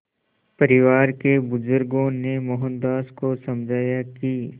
परिवार के बुज़ुर्गों ने मोहनदास को समझाया कि